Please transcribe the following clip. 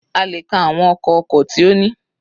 A lè ka àwọn ọkọ̀ oko tí ó ní.